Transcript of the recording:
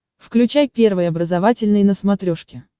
включай первый образовательный на смотрешке